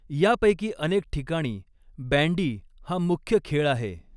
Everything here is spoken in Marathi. यापैकी अनेक ठिकाणी बॅंडी हा मुख्य खेळ आहे.